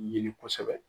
Ɲini kosɛbɛ